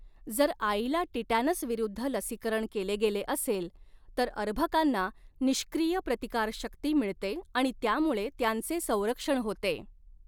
जर आईला टिटॅनस विरूद्ध लसीकरण केले गेले असेल, तर अर्भकांना निष्क्रिय प्रतिकारशक्ती मिळते आणि त्यामुळे त्यांचे संरक्षण होते.